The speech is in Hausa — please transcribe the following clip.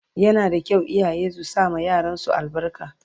Yana da kyau iyaye su sama yaran su albarka